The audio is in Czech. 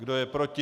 Kdo je proti?